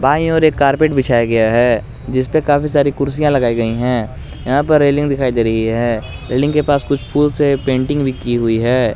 दाई ओर एक कार्पेट बिछाया गया है जिसपे काफी सारी कुर्सियां लगाई गई हैं यहां पर रेलिंग दिखाई दे रही हैं रेलिंग के पास कुछ फूल से पेंटिंग भी की हुई है।